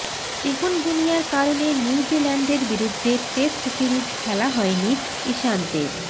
চিকুনগুনিয়ার কারণে নিউজিল্যান্ডের বিরুদ্ধে টেস্ট সিরিজ খেলা হয়নি ইশান্তের